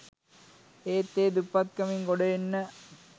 ඒත් ඒ දුප්පත්කමින් ගොඩ එන්න